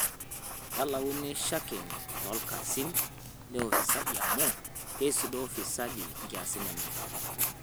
Kelauni shakeni toolkesin le ufisadi amu keisudoo wafisadi nkiasin enye